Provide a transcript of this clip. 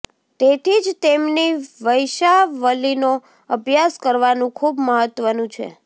તેથી જ તેમની વંશાવલિનો અભ્યાસ કરવાનું ખૂબ મહત્વનું છે